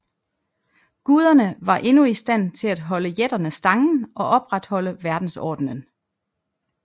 Guderne var endnu i stand til at holde jætterne stangen og opretholde verdensordenen